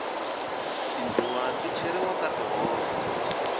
tindluwa ti cheriwa ka tihove